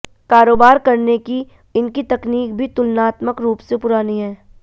कारोबार करने की इनकी तकनीक भी तुलनात्मक रूप से पुरानी है